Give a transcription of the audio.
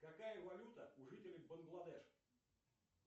какая валюта у жителей бангладеш